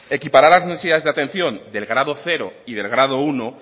equiparar las necesidades de atención del grado cero y del grado uno